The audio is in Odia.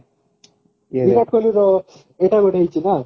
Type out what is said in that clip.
ବିରାଟ କୋହଲିର ଏଇଟା ଗୋଟେ ହେଇଛି ନା